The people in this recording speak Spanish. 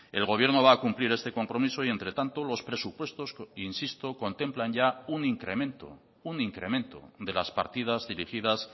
el gobierno va a cumplir este compromiso y entre tanto los presupuestos insisto contemplan ya un incremento un incremento de las partidas dirigidas